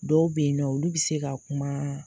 Dɔw be yen nɔ olu bi se ka kuma.